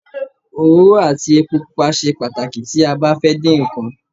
Òróró àti epo pupa ṣe pàtàkì tí a bá fẹ́ din nkan